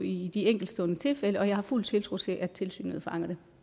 i de enkeltstående tilfælde og jeg har fuld tiltro til at tilsynet fanger det